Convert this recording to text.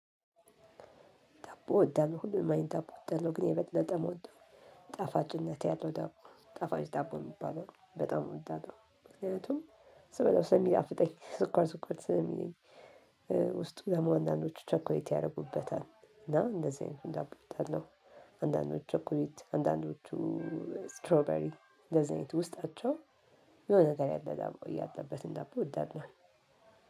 ዳቦ እወዳለሁ ሁሉንም አይነት ዳቦ እወዳለሁ ግን የበለጠ እምወደው ጣፋጭነት ያለው ዳቦ ጣፋጭ ዳቦ የሚባለውን በጣም አወዳለው ምክንያቱም ስበላው ስለሚጣፍጠኝ ስኳር ስኳር ስለሚለኝ። ደግሞ አንዳንዶቹ ቸኮሊት ያደርጉበታል እና እንደዚህ አይነት ዳቦ አወዳለሁ። አንዳንዶቹ ቸኮሌት አንዳንዶቹ እስትሮበሪ እንደዚህ አይነት ውስጣቸው የሆነ ነገር ያለ ዳቦ ያለበትን ዳቦ አወዳለሁ።